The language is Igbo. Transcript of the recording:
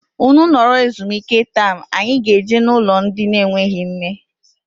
Ụnụ nọrọ ezumike taam anyị ga -eje na ụlọ ndị na enweghị nne.